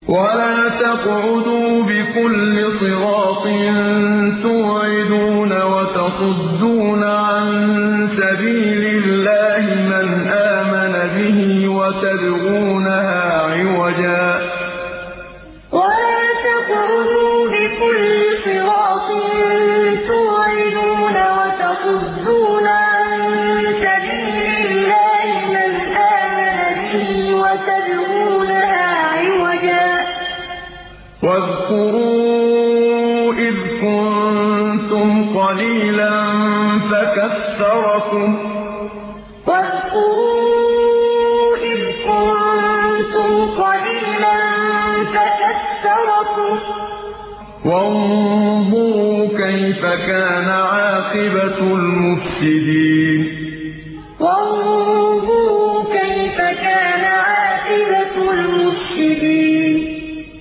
وَلَا تَقْعُدُوا بِكُلِّ صِرَاطٍ تُوعِدُونَ وَتَصُدُّونَ عَن سَبِيلِ اللَّهِ مَنْ آمَنَ بِهِ وَتَبْغُونَهَا عِوَجًا ۚ وَاذْكُرُوا إِذْ كُنتُمْ قَلِيلًا فَكَثَّرَكُمْ ۖ وَانظُرُوا كَيْفَ كَانَ عَاقِبَةُ الْمُفْسِدِينَ وَلَا تَقْعُدُوا بِكُلِّ صِرَاطٍ تُوعِدُونَ وَتَصُدُّونَ عَن سَبِيلِ اللَّهِ مَنْ آمَنَ بِهِ وَتَبْغُونَهَا عِوَجًا ۚ وَاذْكُرُوا إِذْ كُنتُمْ قَلِيلًا فَكَثَّرَكُمْ ۖ وَانظُرُوا كَيْفَ كَانَ عَاقِبَةُ الْمُفْسِدِينَ